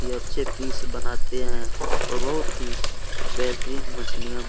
अच्छे पीस बनाते है और बहुत ही बेहतरीन मछलियाँ मि --